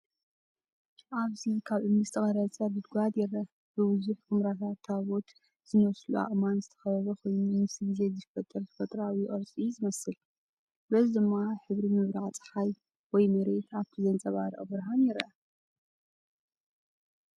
ኣብዚ ካብ እምኒ ዝተቐርጸ ጉድጓድ ይርአ። ብብዙሕ ኵምራታት ታቦት ዝመስሉ ኣእማን ዝተኸበበ ኮይኑ፡ ምስ ግዜ ዝፍጠር ተፈጥሮኣዊ ቅርጺ እዩ ዝመስል። በዚ ድማ ሕብሪ ምብራቕ ጸሓይ ወይ መሬት ኣብቲ ዝንጸባረቕ ብርሃን ይረአ።